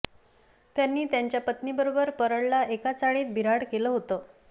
त्यांनी त्यांच्या पत्नीबरोबर परळला एका चाळीत बिऱ्हाड केले होते